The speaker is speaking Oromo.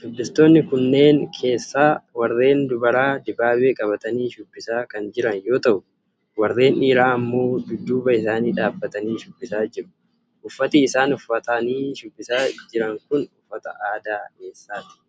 Shubbistoonni kanneen keessaa warreen dubaraa dibaabee qabatanii shubbisaa kan jiran yoo ta'u, warreen dhiiraa ammoo dudduuba isaaniin dhabbatanii shubbisaa jiru. Uffati isaan uffatanii shubbisaa jiran kun uffata aadaa eessaati?